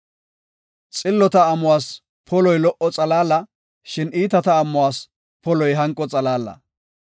Xillota amuwas poloy lo77o xalaala; shin iitata amuwas poloy hanqo xalaala.